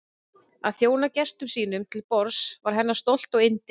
Að þjóna gestum sínum til borðs var hennar stolt og yndi.